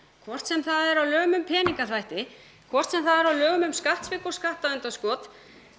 hvort sem það er á lögum um peningaþvætti hvort sem það er á lögum um skattsvik og skattaundanskot